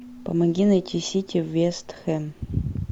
помоги найти сити вест хэм